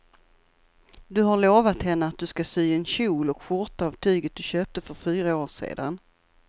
Du har lovat henne att du ska sy en kjol och skjorta av tyget du köpte för fyra år sedan.